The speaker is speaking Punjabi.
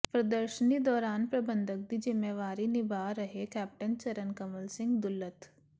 ਪ੍ਰਦਰਸ਼ਨੀ ਦੌਰਾਨ ਪ੍ਰਬੰਧਕ ਦੀ ਜ਼ਿੰਮੇਵਾਰੀ ਨਿਭਾ ਰਹੇ ਕੈਪਟਨ ਚਰਨ ਕਮਲ ਸਿੰਘ ਦੁੱਲਤ